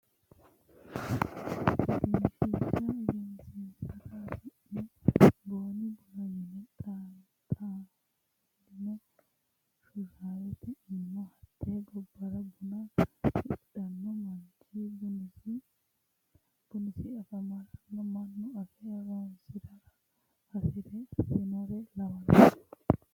Egenshiishsha egensiisara hasi'ne booni buna yine xalinoni shurawete iima hatte gobbara buna hidhano manchi bunisi afamaranna mannu affe harunsasira hasire assinore lawano